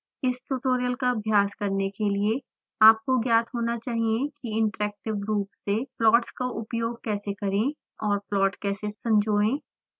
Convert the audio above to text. इस ट्यूटोरियल का अभ्यास करने के लिए आपको ज्ञात होना चाहिए कि इंटरैक्टिव रूप से प्लॉट्स का उपयोग कैसे करें और प्लॉट कैसे संजाएं